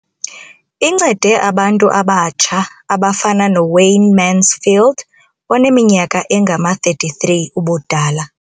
Incede abantu abatsha abafana noWayne Mansfield oneminyaka engama-33 ubudala.